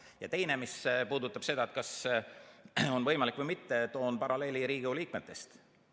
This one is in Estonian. Ja teiseks, mis puudutab seda, kas on võimalik või mitte, toon paralleeli Riigikogu liikmetega.